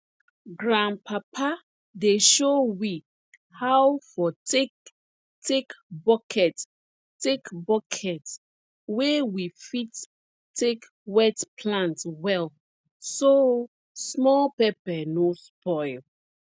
grandpapa dey show we how for take take bucket take bucket wey we fit take wet plant well so small pepper no spoil